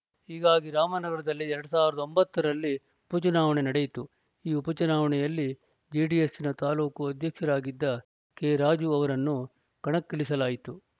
ಹೀಗಾಗಿ ರಾಮನಗರದಲ್ಲಿ ಎರಡ್ ಸಾವಿರದ ಒಂಬತ್ತರಲ್ಲಿ ಉಪಚುನಾವಣೆ ನಡೆಯಿತು ಈ ಉಪಚುನಾವಣೆಯಲ್ಲಿ ಜೆಡಿಎಸ್‌ನ ತಾಲೂಕು ಅಧ್ಯಕ್ಷರಾಗಿದ್ದ ಕೆರಾಜು ಅವರನ್ನು ಕಣಕ್ಕಿಳಿಸಲಾಯಿತು